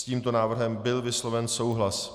S tímto návrhem byl vysloven souhlas.